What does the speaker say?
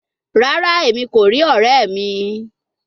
Rara, Emi ko ri ọrẹ mi